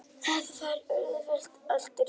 Þar var auðvitað allt rétt.